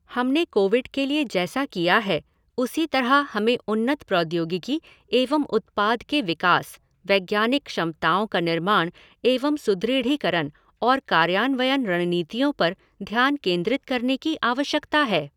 हमने कोविड के लिए जैसा किया है उसी तरह हमें उन्नत प्रौद्योगिकी एवं उत्पाद के विकास, वैज्ञानिक क्षमताओं का निर्माण एवं सुदृढ़ीकरण और कार्यान्वयन रणनीतियों पर ध्यान केंद्रित करने की आवश्यकता है।